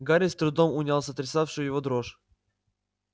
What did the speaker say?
гарри с трудом унял сотрясавшую его дрожь